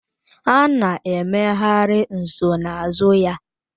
A na-emegharị nsonaazụ ya